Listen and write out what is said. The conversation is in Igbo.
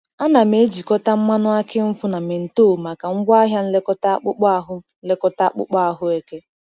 Ana m ejikọta mmanụ aki nkwu na menthol maka ngwaahịa nlekọta akpụkpọ ahụ nlekọta akpụkpọ ahụ eke.